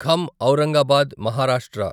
ఖం Aurangabad Maharashtra